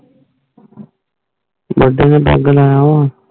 ਗੋਡੇ ਦੇ ਦਾਗ ਲਾਯਾ ਹੁਣ